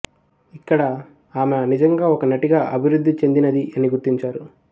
ఇక్కడ ఆమె నిజంగా ఒక నటిగా అభివృద్ధి చెందినది అని గుర్తించారు